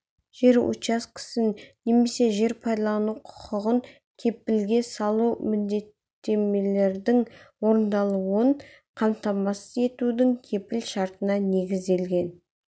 жер учаскесін немесе жер пайдалану құқығын кепілге салу міндеттемелердің орындалуын қамтамасыз етудің кепіл шартына негізделген